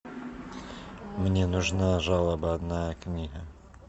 мне нужна жалобная книга